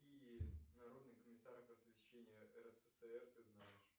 какие народные комиссары просвещения рсфср ты знаешь